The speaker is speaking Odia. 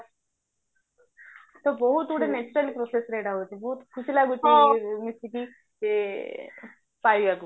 ତ ବହୁତ ଗୁଡେ processରେ ଏଟା ହଉଚି ବହୁତ ଖୁସି ଲାଗୁଚି ମିଶିକି ଯେ ପାଇବାକୁ